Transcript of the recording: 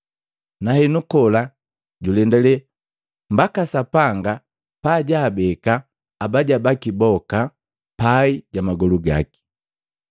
Nahenu kola julendale mbaka Sapanga pa jaabeka abaja baki boka pai ja magolu gaki.